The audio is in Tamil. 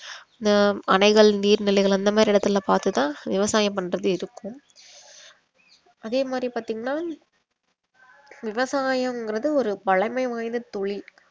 அஹ் அணைகள் நீர் நிலைகள் அந்த மாதிரி இடத்துலலாம் பார்த்து தான் விவசாயம் பண்றது இருக்கும் அதே மாதிரி பாத்தீங்கன்னா விவசாயங்கறது ஒரு பழமை வாய்ந்த தொழில்